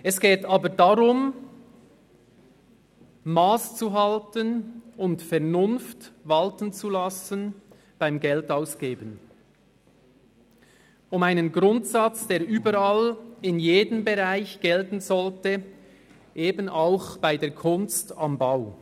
Es geht aber darum, masszuhalten und Vernunft beim Geldausgeben walten zu lassen, um einen Grundsatz, der überall in jedem Bereich gelten sollte, eben auch bei der Kunst am Bau.